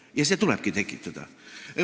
Ja see tulebki tekitada.